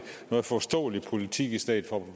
noget forståelig politik i stedet for